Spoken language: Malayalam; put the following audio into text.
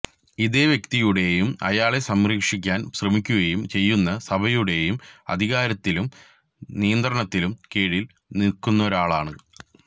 ഇതേ വ്യക്തിയുടേയും അയാളെ സംരക്ഷിക്കാന് ശ്രമിക്കുകയും ചെയ്യുന്ന സഭയുടെയും അധികാരത്തിലും നിയന്ത്രണത്തിലും കീഴില് നില്ക്കുന്നൊരാള്